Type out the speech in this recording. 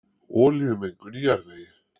Olíumengun í jarðvegi